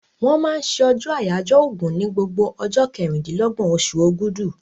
Wọ́n máa ń se ọjọ́ àyáyọ́ ògùn ní gbogbo ọjọ́ kẹrìndínlọ́gbọ̀n osù ògudù